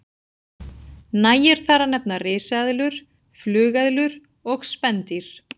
Nægir þar að nefna risaeðlur, flugeðlur og spendýr.